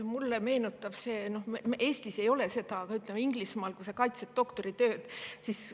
Mulle meenutab see seda – Eestis nii ei ole –, kuidas näiteks Inglismaal kaitstakse doktoritöid.